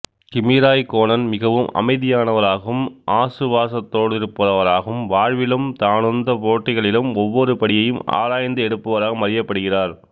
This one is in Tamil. கிமி ராய்க்கோனன் மிகவும் அமைதியானவராகவும் ஆசுவாசத்தோடிருப்பவராகவும் வாழ்விலும் தானுந்துப் போட்டிகளிலும் ஒவ்வொரு படியையும் ஆராய்ந்து எடுப்பவராகவும் அறியப்படுகிறார்